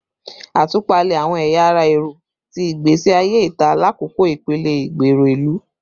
Atupalẹ awọn ẹya ara ẹrọ ti igbesi aye ita lakoko ipele igbero ilu